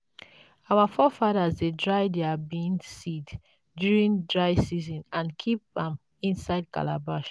our forefathers dey dry their bean seeds during dry season and keep am inside calabash.